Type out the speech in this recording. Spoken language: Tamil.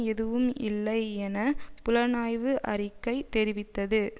எதுவும் இல்லை என புலனாய்வு அறிக்கை தெரிவித்தது